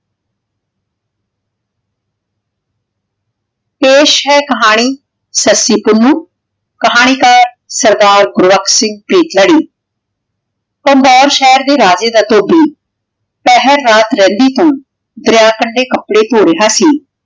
ਪੇਸ਼ ਹੈ ਕਹਾਨੀ ਸਸਿ ਪੁੰਨੁ ਕਹਾਨੀ ਕਰ ਸਰਦਾ ਗੋਰਖ ਸਿੰਘ ਕ਼ਾਂਦੋਰ ਸ਼ੇਹਰ ਦੇ ਰਾਜੇ ਦਾ ਧੋਭੀ ਪਹਰ ਰਾਤ ਰਿਹੰਦੀ ਤੋਂ ਦਰਯਾ ਕਾਂਡੀ ਕਪਰੇ ਧੋ ਰਯ ਸੀ